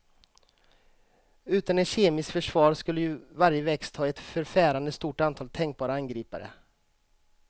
Utan ett kemiskt försvar skulle ju varje växt ha ett förfärande stort antal tänkbara angripare.